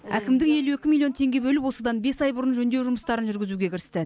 әкімдік елу екі миллион теңге бөліп осыдан бес ай бұрын жөндеу жұмыстарын жүргізуге кірісті